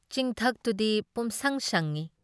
ꯆꯤꯡꯊꯛꯇꯨꯗꯤ ꯄꯨꯝꯁꯪ ꯁꯪꯏ ꯫